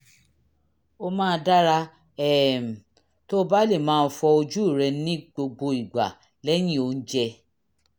ó máa dára um tó o bá lè máa fọ ojú rẹ ní gbogbo ìgbà lẹ́yìn oúnjẹ